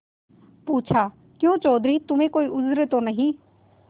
पूछाक्यों चौधरी तुम्हें कोई उज्र तो नहीं